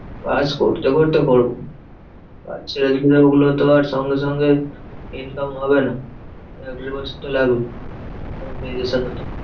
কাজ করতে করতে করবো কাজ ছেড়ে দিলে ওগুলোতো আর সঙ্গে সঙ্গে income হবে না। এক দেড় বছর তো লাগবে। হতে